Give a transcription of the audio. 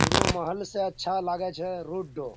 उरो महल से अच्छा लागेछे रोड डो।